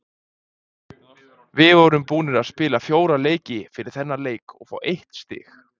Við vorum búnir að spila fjóra leiki fyrir þennan leik og fá eitt stig,